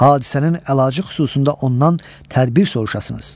Hadisənin əlacı xüsusunda ondan tədbir soruşasınız.